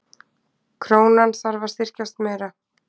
Krónan þarf að styrkjast meira